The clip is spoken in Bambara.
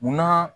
Munna